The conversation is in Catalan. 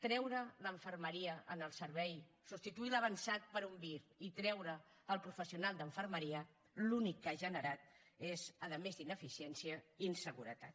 treure la infermeria en el servei substituir l’avançat per un vir i treure el professional d’infermeria l’únic que ha generat és a més d’ineficiència inseguretat